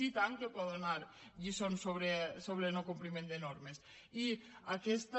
i tant que poden donar lliçons sobre no compliment de normes i aquesta